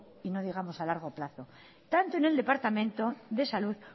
y no digamos a largo plazo tanto en el departamento de salud